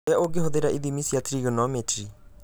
ũrĩa ũngĩhũthĩra ithimi cia trigonometry